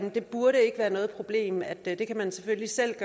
det burde ikke være noget problem at man selvfølgelig selv